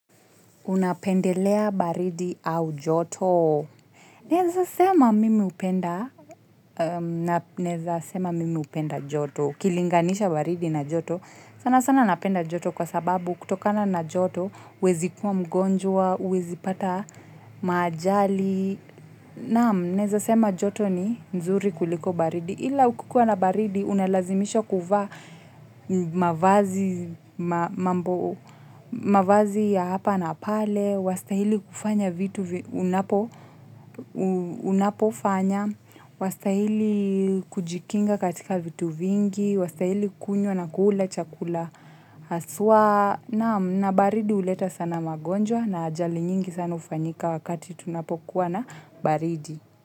Unapendelea baridi au joto? Naweza sema mimi hupenda joto. Kilinganisha baridi na joto. Sana sana napenda joto kwa sababu kutokana na joto. Huwezi kuwa mgonjwa, huwezi pata maajali. Naam, naweza sema joto ni nzuri kuliko baridi. Ila kukikuwa na baridi unalazimisha kuvaa mavazi ya hapa na pale, wastahili kufanya vitu unapofanya, wastahili kujikinga katika vitu vingi, wastahili kula na kunywa chakula hasa. Naam na baridi huleta sana magonjwa na ajali nyingi sana hufanyika.